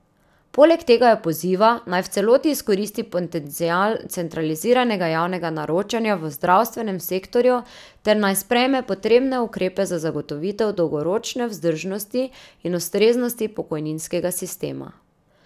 Poleg tega jo poziva, naj v celoti izkoristi potencial centraliziranega javnega naročanja v zdravstvenem sektorju ter naj sprejme potrebne ukrepe za zagotovitev dolgoročne vzdržnosti in ustreznosti pokojninskega sistema.